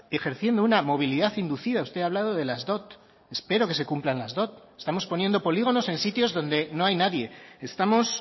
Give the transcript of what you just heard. ejerciendo una movilidad inducida usted ha hablado de las dot espero que se cumplan las dot estamos poniendo polígonos en sitios donde no hay nadie estamos